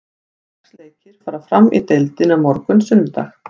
Sex leikir fara fram í deildinni á morgun, sunnudag.